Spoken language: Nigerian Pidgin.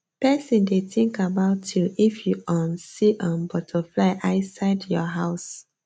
person dey think about you if you um see um butterfly i side your house